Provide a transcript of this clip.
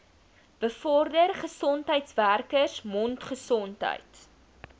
bevorder gesondheidswerkers mondgesondheid